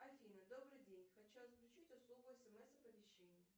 афина добрый день хочу отключить услугу смс оповещение